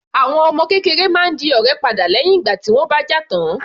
Àwọn ọmọ kékeré máa ń di ọ̀rẹ́ padà lẹ́hìn ìgbà tí wọ́n bá jà tán.